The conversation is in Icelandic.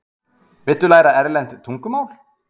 Viltu læra erlent tungumál?